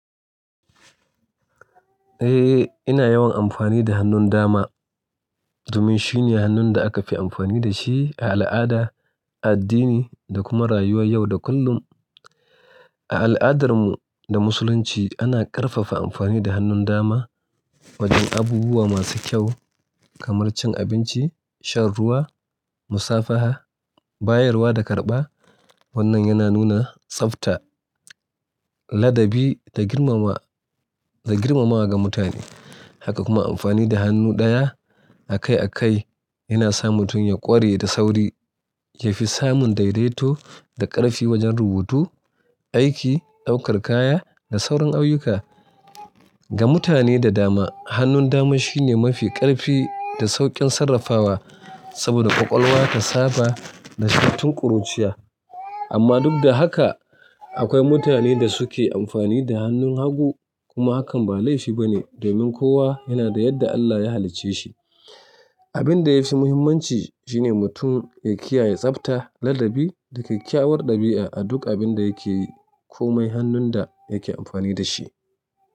Eh, ina yawan amfani da hannun dama domin shine hannun da aka fi amfani da shi a al'ada, addini da kuma rayuwar yau da kullum. A al'adarmu da Musulunci ana ƙarfafa amfani da hannun dama wajen abubuwa masu kyau kamar cin abinci, shan ruwa, musafaha, bayarwa da karɓa. Wannan yana nuna tsabta, ladabi da girmamawa, da girmamawa ga mutane. Haka kuma amfani da hannu ɗaya a kai a kai yana sa mutum ya ƙware da sauri, yafi samun daidaito da ƙarfi wajen rubutu, aiki, ɗaukar kaya da sauran ayyuka. Ga mutane da dama hannun dama shine mafi ƙarfi da sauƙin sarrafawa saboda ƙwaƙwalwa ta saba da shi tun ƙuruciya. Amma duk da haka akwai mutane da suke amfani da hannun hagu kuma hakan ba laifi ba ne domin kowa yana da yadda Allah ya halicce shi. Abin da yafi muhimmanci shine mutum ya kiyaye tsabta, ladabi da kyakkyawar ɗabi'a a duk abin da yake yi ko mai hannun da yake amfani da shi.